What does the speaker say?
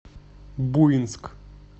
буинск